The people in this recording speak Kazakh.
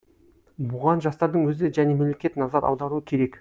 бұған жастардың өзі және мемлекет назар аударуы керек